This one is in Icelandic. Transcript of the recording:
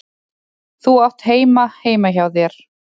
Þú átt heima heima hjá þér!